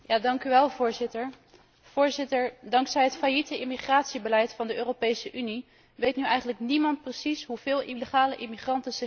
Voorzitter, vanwege het failliete immigratiebeleid van de Europese Unie weet nu eigenlijk niemand precies hoeveel illegale immigranten zich in de Europese Unie bevinden.